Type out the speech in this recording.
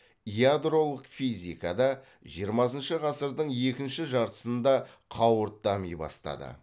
ядролық физика да жиырмасыншы ғасырдың екінші жартысында қауырт дами бастады